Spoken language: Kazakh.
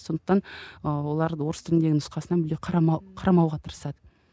сондықтан ыыы олар орыс тіліндегі нұсқасынан мүлде қарамауға тырысады